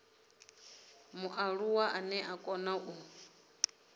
mualuwa ane a kona u